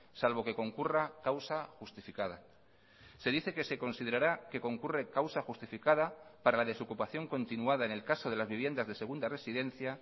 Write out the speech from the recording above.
salvo que concurra causa justificada se dice que se considerará que concurre causa justificada para la desocupación continuada en el caso de las viviendas de segunda residencia